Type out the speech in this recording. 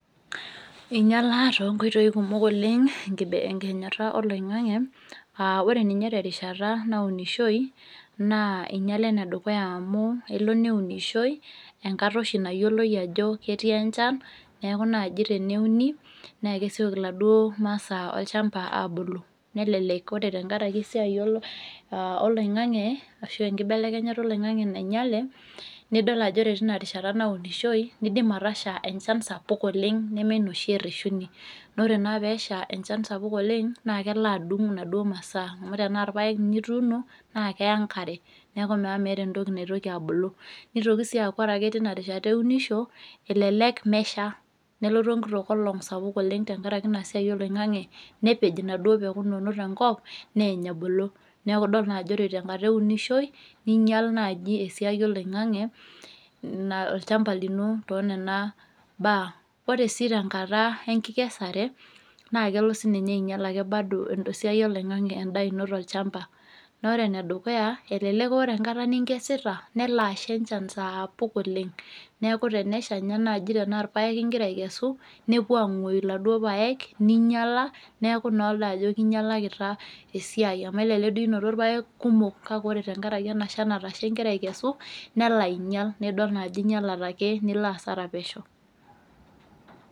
Einyialaa tonkoitoi kumok oleng enkibe enkihenyata oloing'ang'e uh ore ninye terishata naunishoi naa einyiala enedukuya amu elo neunishoi enkata oshi nayioloi ajo ketii enchan neaku naaji teneuni nekesioki iladuo masaa olchamba abulu nelelek ore tenkarake esiai olo oloing'ang'e ashu enkibelekenyata oloing'ang'e nainyiale nidol ajo ore tina rishata naunishoi nidim atasha enchan sapuk oleng neme ina oshi ereshuni nore naa peesha enchan sapuk oleng naa kelo adung inaduo masaa amu tenaa irpayek inye ituuno naa keya enkare neku naa meeta entoki naitoki abulu nitoki sii aaku ore ake tina rishata eunisho elelek mesha nelotu enkito kolong sapuk oleng tenkaraki ina siai oloing'ang'e nepej inaduo peku inonok tenkop neny ebulu neku idol naa ajo ore tenkata eunishoi ninyial naaji esiai oloing'ng'e olchamba lino tonena baa ore sii tenkata enkikesare naa kelo sininye ainyial ake bado esiai oloing'ang'e endaa ino tolchamba nore enedukuya elelek ore enkata ninkesita nelo asha enchan saapuk oleng neku tenesha inye naaji tenaa irpayek ingira aikesu nepuo ang'uoyu iladuo payek ninyiala neeku noola ajo kinyialakita esiai amu elelek duo inoto irpayek kumok kake ore tenkarake ena shan natasha ingira aikesu nelo ainyial naidol naa ajo inyialate ake nilo asara pesho.